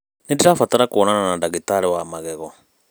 Nĩndĩrabatara kuonana na ndagĩtari wa magego.